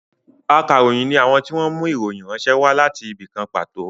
Ákàròyìn ni àwọn tí wọn mú ìròyìn ránṣẹ́ wá láti ibì kan pàtó